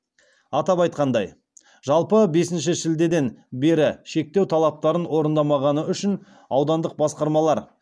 атап айтқанда жалпы бесінші шілдеден бері шектеу талаптарын орындамағаны үшін аудандық басқармалар